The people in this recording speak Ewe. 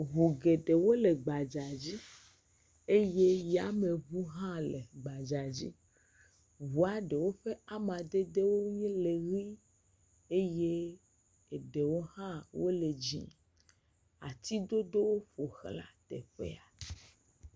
Ŋu eɖewo le gbadzadzi eye yameŋu hã le gbadzadzi. ŋua ɖewo ƒe amadede nye le ʋi eye eɖwo hã wole dzɛ̃. Atidodowo ƒo ʋlã teƒea.